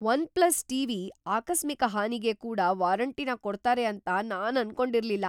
OnePlus TV ಆಕಸ್ಮಿಕ ಹಾನಿಗೆ ಕೂಡ ವಾರಂಟಿನ ಕೊಡ್ತಾರೆ ಅಂತ ನಾನ್ ಅನ್ಕೊಂಡಿರ್ಲಿಲ್ಲ.